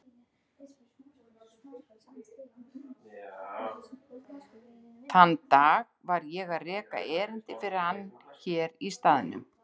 Þann dag var ég að reka erindi fyrir hann hér í staðnum.